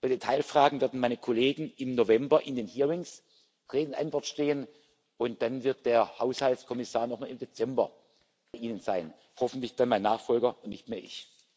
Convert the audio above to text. Bei Detailfragen werden meine Kollegen im November in den Hearings Rede und Antwort stehen, und dann wird der Haushaltskommissar noch einmal im Dezember bei Ihnen sein hoffentlich dann mein Nachfolger, nicht mehr ich.